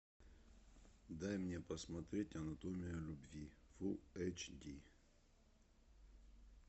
дай мне посмотреть анатомия любви фулл эйч ди